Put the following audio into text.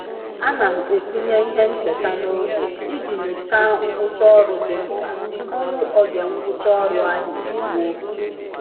A na m etinye ihe ncheta n'oge iji nyocha ngwụcha ọrụ dị mkpa tụpụ oge ngwụcha ọrụ ahụ e ruo.